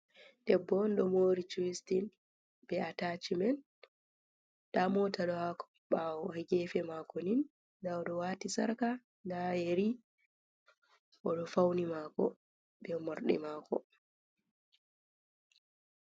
Debbo on ɗo mori cuistin be atachimen nda mota ɗo ha ko bawo gefe mako nin nda oɗo wati sarka nda yeri oɗo fauni mako be morɗi mako.